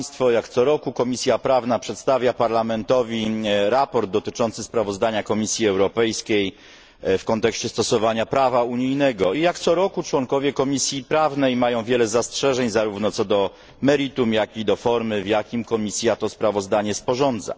Jak co roku Komisja Prawna przedstawia Parlamentowi raport dotyczący sprawozdania Komisji Europejskiej w kontekście stosowania prawa unijnego i jak co roku członkowie Komisji Prawnej mają wiele zastrzeżeń zarówno co do meritum, jak i do formy, w jakiej Komisja to sprawozdanie sporządza.